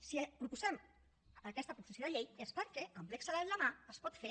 si proposem aquesta proposició de llei és perquè amb l’excel a la mà es pot fer